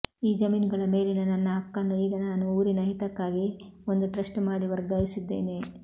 ಈ ಜಮೀನುಗಳ ಮೇಲಿನ ನನ್ನ ಹಕ್ಕನ್ನು ಈಗ ನಾನು ಊರಿನಹಿತಕ್ಕಾಗಿ ಒಂದುಟ್ರಸ್ಟ್ ಮಾಡಿ ವರ್ಗಾಯಿಸಿದ್ದೇನೆ